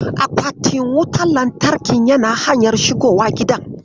Akwatin wutar lantarkin yana hanyar shigowa gidan.